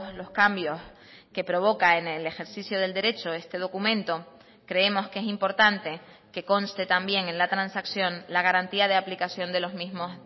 los cambios que provoca en el ejercicio del derecho este documento creemos que es importante que conste también en la transacción la garantía de aplicación de los mismos